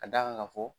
Ka d'a kan ka fɔ